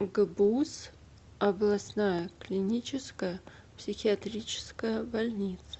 гбуз областная клиническая психиатрическая больница